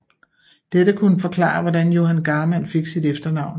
Dette kunne forklare hvordan Johan Garmann fik sit efternavn